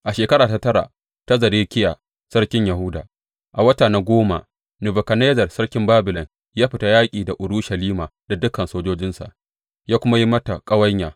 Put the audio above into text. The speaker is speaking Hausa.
A shekara ta tara ta Zedekiya sarkin Yahuda, a wata na goma, Nebukadnezzar sarkin Babilon ya fita yaƙi da Urushalima da dukan sojojinsa ya kuma yi mata ƙawanya.